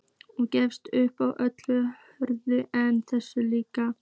Og gefist upp á öllu öðru en þessu.